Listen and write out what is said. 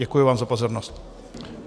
Děkuji vám za pozornost.